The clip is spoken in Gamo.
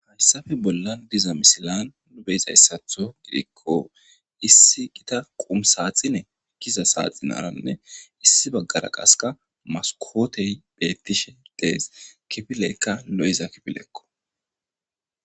Hesappe bolani diza misilani beizayisatho issi qumu Giza saxinarane gita issi bagara qasekka masikoteyi betishe deesi kifileyi qasi liiza kifilekko